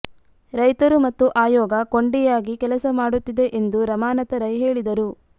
ರೈತರು ಮತ್ತು ಆಯೋಗ ಕೊಂಡಿಯಾಗಿ ಕೆಲಸ ಮಾಡುತ್ತಿದೆ ಎಂದು ರಮಾನಾಥ ರೈ ಹೇಳಿದರು